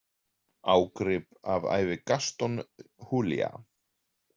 Ágrip af ævi Gaston Julia.